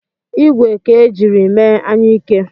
ìgwè ka e jiri mee anyuike